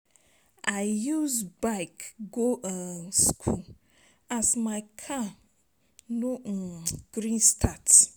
I use bike go um skool as my car no um gree start.